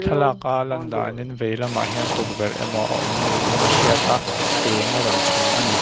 thlalaka a lan danin veilamah hian tukverh emaw a awm niin a hriat a eng a rawn chhun a ni.